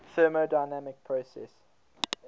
thermodynamic processes